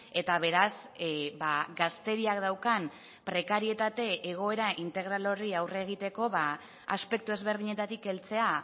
eta beraz gazteriak daukan prekarietate egoera integral horri aurre egiteko aspektu ezberdinetatik heltzea